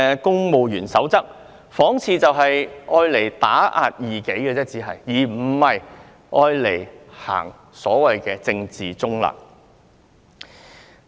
《公務員守則》看似只是用來打壓異己，而非遵守所謂政治中立的原則。